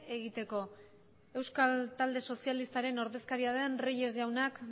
egiteko euskal talde sozialistaren ordezkiararen reyes jaunak